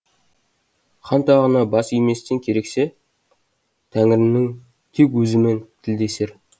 хан тағына бас иместен керексе тәңірінің тек өзімен тілдесер